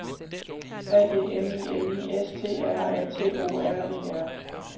A D M I N I S T R A T O R E R